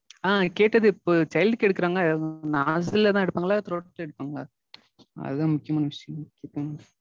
ஆஹ் கேட்டது இப்போ child க்கு எடுக்கறாங்கல்ல? nostril லதா எடுப்பாங்களா இல்ல throat ல எடுப்பாங்களா? அதா முக்கியமான விஷயம்.